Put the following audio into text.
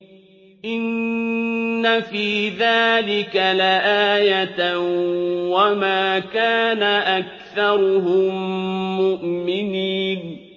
إِنَّ فِي ذَٰلِكَ لَآيَةً ۖ وَمَا كَانَ أَكْثَرُهُم مُّؤْمِنِينَ